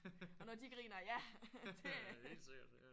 Og når de griner ja det er